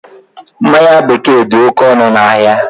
Mmanya bekee dị oké ọnụ ahịa